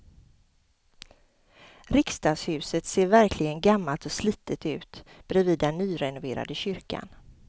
Riksdagshuset ser verkligen gammalt och slitet ut bredvid den nyrenoverade kyrkan.